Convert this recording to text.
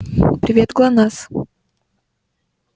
привет глонассс